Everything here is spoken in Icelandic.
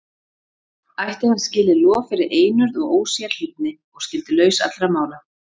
Ætti hann skilið lof fyrir einurð og ósérhlífni, og skyldi laus allra mála.